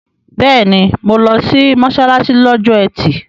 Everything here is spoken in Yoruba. Bẹ́ẹ̀ni, mo lọ sí mọ́ṣáláṣí lọ́jọ́ ẹtì